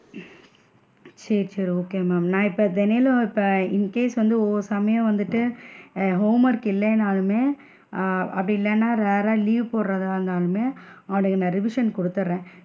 சேரி சேரி okay ma'am நான் இப்ப தெனைலியும் இப்ப incase வந்து ஒவ்வொரு சமயம் வந்துட்டு ஆஹ் homework இல்லைனாலுமே ஆஹ் அப்படி இல்லைன்னா rare ற leave போடுரதுனாலுமே அவனுக்கு நான் revision குடுத்திடுறேன்.